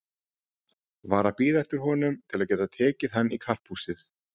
Var að bíða eftir honum til að geta tekið hann í karphúsið.